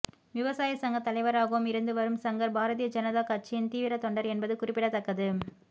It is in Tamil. விவசாய சங்க தலைவராகவும் இருந்து வரும் சங்கர் பாரதிய ஜனதா கட்சியின் தீவிர தொண்டர் என்பது குறிப்பிடத்தக்கது